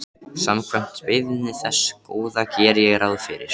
Samkvæmt beiðni þess Góða geri ég ráð fyrir.